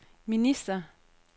minister